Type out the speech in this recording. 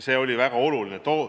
See oli väga oluline.